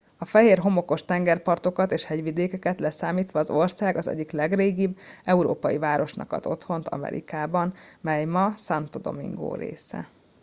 a fehér homokos tengerpartokat és hegyvidékeket leszámítva az ország az egyik legrégibb európai városnak ad otthont amerikában mely ma santo domingo része